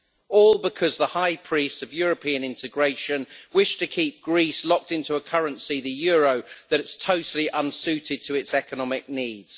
All because the high priests of European integration wish to keep Greece locked into a currency, the euro, that is totally unsuited to its economic needs.